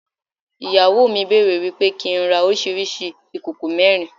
Ìyàwó mi bẹ̀rẹ̀ wípé kí n rà oríṣiríṣi ìkòkò mẹ́rin.